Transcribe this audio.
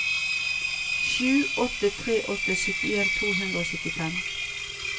sju åtte tre åtte syttien to hundre og syttifem